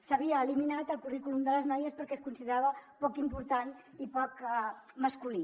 s’havia eliminat el currículum de les noies perquè es considerava poc important i poc masculí